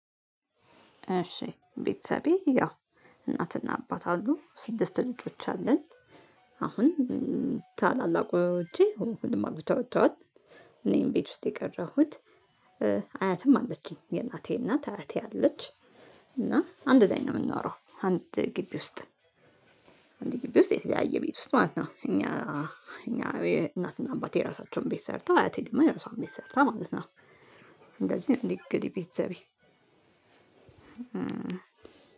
እሺ ቤተሰቤ ያው እናትና አባት አሉ ስድስት ልጆች አለን። አሁን ታላላቆቼ ሁሉም አግብተው ወተዋል እኔ ነኝ ቤት ውስጥ የቀረሁት። አያትም አለችኝ የእናቴ እናት አያቴ አለች እና አንድ ላይ ነው የምንኖረው አንድ ግቢ ውስጥ። አንድ ግቢ ውስጥ የተለያየ ቤት ውስጥ ማለት ነው። እኛ እኛ እናትና አባቴ የራሳቸውን ቤት ሰርተው አያቴ ደግሞ የራሷን ቤት ሰርታ ማለት ነው። እንደዚህ ነው እንግዲህ ቤተሰቤ።